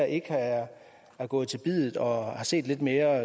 ikke er gået til biddet her og har set lidt mere